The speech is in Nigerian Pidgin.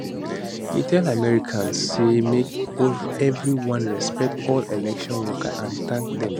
e tell americans say make evri one respect all election workers and tank dem